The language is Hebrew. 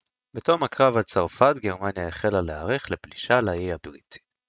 בתום הקרב על צרפת גרמניה החלה להערך לפלישה לאי הבריטי